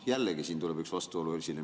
Jällegi siin tuleb üks vastuolu esile.